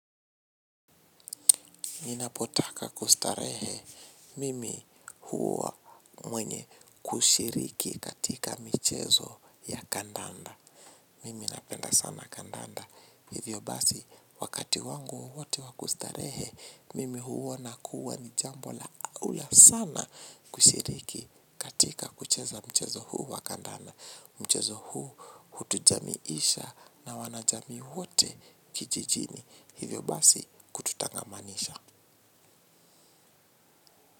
Ninapotaka kustarehe mimi huwa mwenye kushiriki katika mchezo ya kandanda. Mimi napenda sana kandanda. Hivyo basi wakati wangu wote wa kustarehe, mimi huona kuwa ni jambo la aula sana kushiriki katika kucheza mchezo huu wa kandanda. Mchezo huu hutujamiisha na wanajamii wote kijijini. Hivyo basi kututangamanisha.